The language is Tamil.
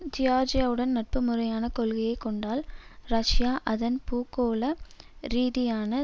ஜியார்ஜியாவுடன் நட்புமுறையான கொள்கையை கொண்டால் ரஷியா அதன் பூகோள ரீதியான